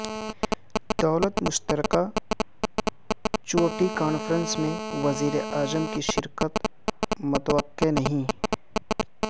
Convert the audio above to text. دولت مشترکہ چوٹی کانفرنس میں وزیراعظم کی شرکت متوقع نہیں